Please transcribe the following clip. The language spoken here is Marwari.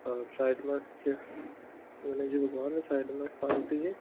और अ साइड मे गणेश जी भगवान साइड में पार्वती जी--